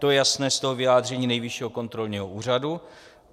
To je jasné z toho vyjádření Nejvyššího kontrolního úřadu.